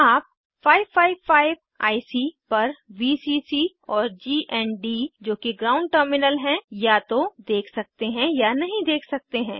आप 555 आईसी पर वीसीसी और गण्ड जो कि ग्राउंड टर्मिनल है या तो देख सकते या नहीं देख सकते हैं